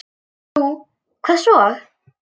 Nú, hvað svo?